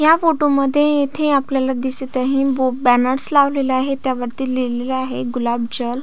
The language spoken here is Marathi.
या फोटो मध्ये येथे आपल्याला दिसत आहे बो बॅनर्स लावलेला आहे त्यावरती लिहलेल आहे गुलाब जल.